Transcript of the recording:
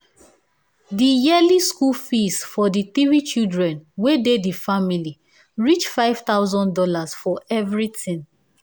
di yearly school fees for di three children wey dey di family reach five thousand dollars for everything